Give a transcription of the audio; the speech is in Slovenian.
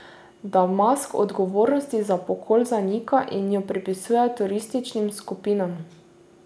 Damask odgovornost za pokol zanika in jo pripisuje terorističnim skupinam.